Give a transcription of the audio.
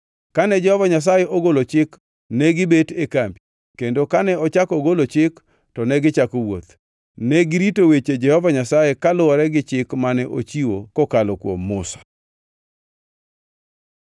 Kane Jehova Nyasaye ogolo chik negibet e kambi, kendo kane ochako ogolo chik to negichako wuoth. Negirito weche Jehova Nyasaye, kaluwore gi chik mane ochiwo kokalo kuom Musa.